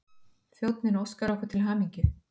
Þjónninn óskar okkur til hamingju.